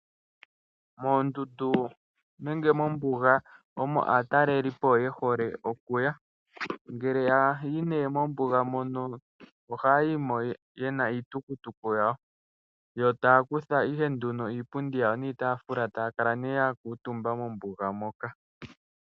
Moondundu nenge mombuga omo aatalelipo ye hole okuya. Ngele taya yi mombuga ohaya yi mo ye na iitukutuku yawo, yo taa kutha ihe iipundi yawo niitaafula, taya kala ihe ya kuutumba mombuga moka.